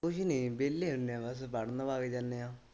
ਕੁਛ ਨੀ ਵਿਹਲੇ ਹੁੰਦੇ ਬਸ ਪੜਨ ਵਗ ਜਾਂਦੇ ਆ।